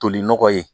Toli nɔgɔ ye